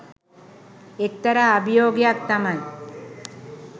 එක්තරා අභියෝගයක් තමයි.